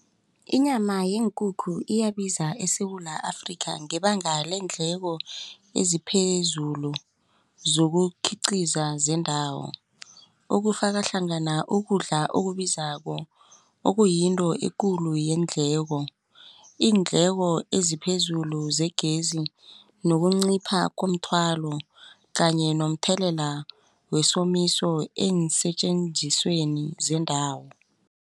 Inyama yeenkukhu iyabiza eSewula Afrika ngebanga leendleko eziphezulu zokukhiqiza zendawo okufaka hlangana ukudla okubizako okuyinto ekulu yeendleko. Iindleko eziphezulu zegezi nokuncipha komthwalo kanye nomthelela wesomiso eensetjenzisweni zendawo.